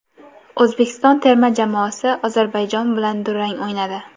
O‘zbekiston terma jamoasi Ozarbayjon bilan durang o‘ynadi.